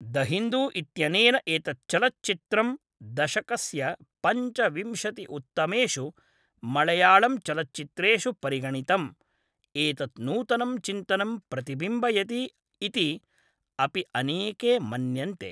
The Hindu इत्यनेन एतत् चलच्चित्रं दशकस्य पञ्चविंशति उत्तमेषु मळयालम्चलच्चित्रेषु परिगणितं, एतत् नूतनं चिन्तनं प्रतिबिम्बयति इति अपि अनेके मन्यन्ते।